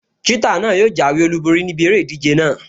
Ṣítà náà yóò jáwé olùborí níbi eré ìdíje náà